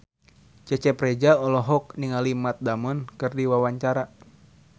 Cecep Reza olohok ningali Matt Damon keur diwawancara